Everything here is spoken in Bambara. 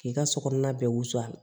K'i ka so kɔnɔna bɛɛ wusu